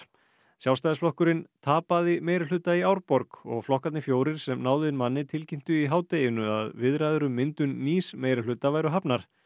Sjálfstæðisflokkurinn tapaði meirihluta í Árborg og flokkarnir fjórir sem náðu inn manni tilkynntu í hádeginu að viðræður um myndun nýs meirihluta væri hafnar